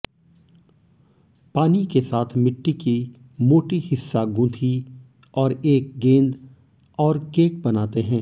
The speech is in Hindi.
पानी के साथ मिट्टी की मोटी हिस्सा गूंथी और एक गेंद और केक बनाते हैं